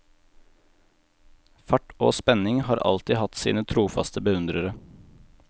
Fart og spenning har alltid hatt sine trofaste beundrere.